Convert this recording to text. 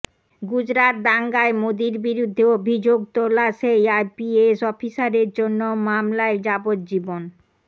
গুজরাত দাঙ্গায় মোদীর বিরুদ্ধে অভিযোগ তোলা সেই আইপিএস অফিসারের অন্য মামলায় যাবজ্জীবন